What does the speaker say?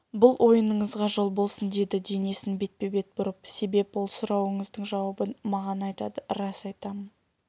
бұл ойыныңызға жол болсын деді денесін бетпе-бет бұрып себеп ол сұрауыңыздың жауабын маган айтады рас айтам